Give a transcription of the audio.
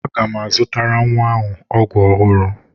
Aga m azụtara nwa m ọgwụ ọhụrụ.